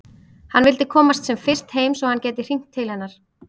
Hann vildi komast sem fyrst heim svo að hann gæti hringt til hennar.